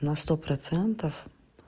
на сто процентов